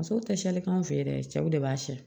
Musow tɛ siyani k'an fɛ yen dɛ cɛw de b'a siyɛ